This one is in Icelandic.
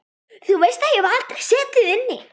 Þú veist að ég hef aldrei setið inni.